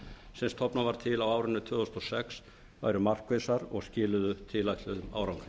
sem stofnað var til á árinu tvö þúsund og sex væru markvissar og skiluðu tilætluðum árangri